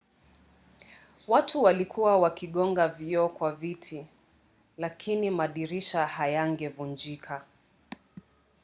watu walikuwa wakigonga vioo kwa viti lakini madirisha hayangevunjika